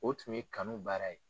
O tun ye kanu baara ye